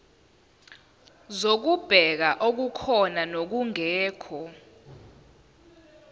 zokubheka okukhona nokungekho